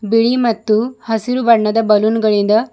ಬಿಳಿ ಮತ್ತು ಹಸಿರು ಬಣ್ಣದ ಬಲೂನ್ ಗಳಿಂದ--